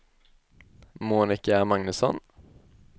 Monica Magnusson